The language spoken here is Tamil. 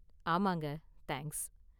ஆமாங்க, தேங்க்ஸ்.